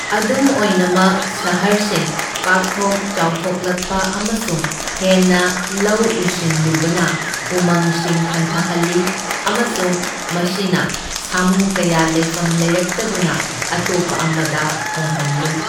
ꯑꯗꯨꯝ ꯑꯣꯏꯅꯃꯛ ꯁꯍꯔꯁꯤꯡ ꯄꯥꯛꯊꯣꯛ ꯆꯥꯎꯊꯣꯛꯂꯛꯄ ꯑꯃꯁꯨꯡ ꯍꯦꯟꯅ ꯂꯧ ꯎꯁꯤꯟꯂꯨꯕꯅ ꯎꯃꯪꯁꯤꯡ ꯍꯟꯊꯍꯜꯂꯤ ꯑꯃꯁꯨꯡ ꯃꯁꯤꯅ ꯁꯥꯃꯨ ꯀꯌꯥ ꯂꯩꯐꯝ ꯂꯩꯔꯛꯇꯗꯨꯅ ꯑꯇꯣꯞꯄ ꯑꯃꯗ ꯍꯣꯡꯍꯟꯂꯤ꯫